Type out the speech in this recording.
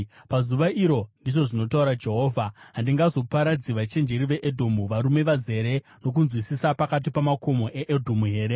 “Pazuva iro,” ndizvo zvinotaura Jehovha, “handingazoparadzi vachenjeri veEdhomu, varume vazere nokunzwisisa pakati pamakomo eEdhomu here?